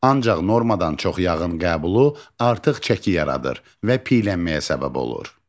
Ancaq normadan çox yağın qəbulu artıq çəki yaradır və piylənməyə səbəb olur.